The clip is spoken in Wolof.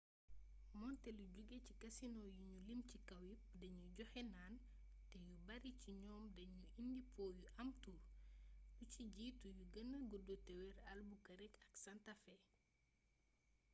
moonte lu joge ci kasinoo yi nu lim ci kaw yepp danuy joxe naan te yu bare ci ñoom dañuy indi po yu am tur lu ci jiitu yu gëna gudd te wër albuquerque ak santa fe